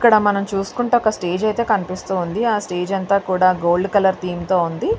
ఇక్కడ మనము చూసుకుంటే ఒక స్టేజి ఐతే కనిపిస్తూ ఉంది. ఆ స్టేజి అంత గోల్డ్ కలర్ థేం తో ఉంది.